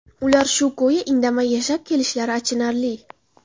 Ular shu ko‘yi indamay yashab kelishlari achinarli.